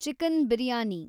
chicken biryani